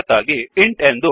ಅದಕ್ಕಾಗಿ ಇಂಟ್